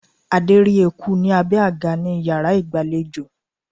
Adé rí eku ní abé àga ní iyàrá ìgbàlejò